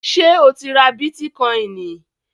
Ṣé o ti ra bítíkọìnì?